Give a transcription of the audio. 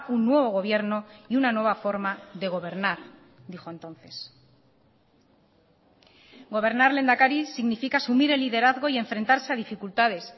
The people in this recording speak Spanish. un nuevo gobierno y una nueva forma de gobernar dijo entonces gobernar lehendakari significa asumir el liderazgo y enfrentarse a dificultades